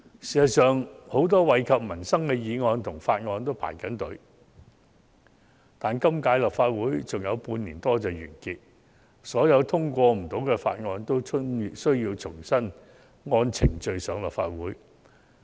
事實上，很多惠及民生的議案和法案皆在輪候審議，但本屆立法會的任期只餘下半年多便會完結，所有未能通過的法案均需重新按程序提交立法會。